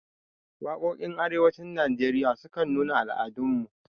Waƙoƙin arewacin najeriya sukan nuna al'adun mu